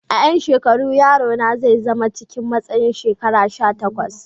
A yan shekaru, yaro na zai zama cikin matsayin shekaru sha takwas.